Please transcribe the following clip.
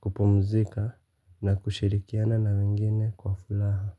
kupumzika na kushirikiana na wengine kwa furaha.